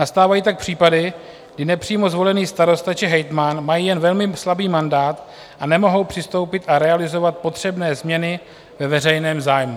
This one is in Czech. Nastávají tak případy, kdy nepřímo zvolený starosta či hejtman mají jen velmi slabý mandát a nemohou přistoupit a realizovat potřebné změny ve veřejném zájmu.